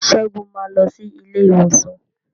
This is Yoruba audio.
Segun ma lọ sí ilé ìwòsan.